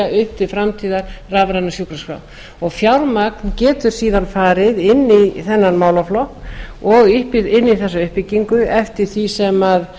upp til framtíðar rafræna sjúkraskrá fjármagn getur síðan farið inn í þennan málaflokk og inn í þessa uppbyggingu eftir því sem